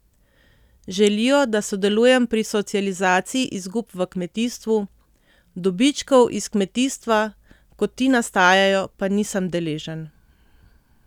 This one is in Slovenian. Želijo, da sodelujem pri socializaciji izgub v kmetijstvu, dobičkov iz kmetijstva, ko ti nastajajo, pa nisem deležen.